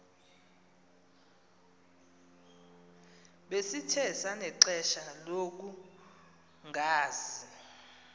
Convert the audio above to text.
besikhe sanexesha lokungazi